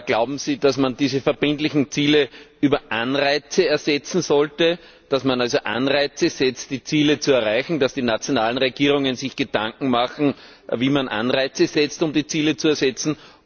Glauben Sie, dass man diese verbindlichen Ziele über Anreize erreichen sollte, dass man also Anreize setzt, um die Ziele zu erreichen, dass die nationalen Regierungen sich Gedanken machen, wie man Anreize setzt, um die Ziele zu erreichen?